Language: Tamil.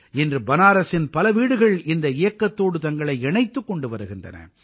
இன்று பனாரசின் பல வீடுகள் இந்த இயக்கத்தோடு தங்களை இணைத்துக் கொண்டு வருகின்றன